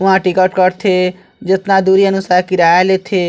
वह टिकट कट थे जितना दुरी अनुसार किराया लेथे--